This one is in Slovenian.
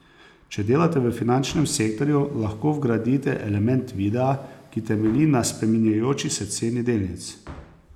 Če delate v finančnem sektorju, lahko vgradite element videa, ki temelji na spreminjajoči se ceni delnic.